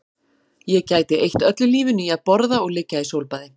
Ég gæti eytt öllu lífinu í að borða og liggja í sólbaði